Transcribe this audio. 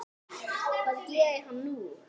Hvað gerir hann nú?